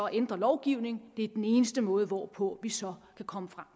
ændre lovgivningen det er den eneste måde hvorpå vi så kan komme frem